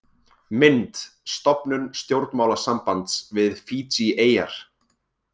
Mynd: Stofnun stjórnmálasambands við Fídjieyjar.